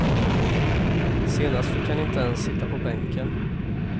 Senast fick han inte ens sitta på bänken.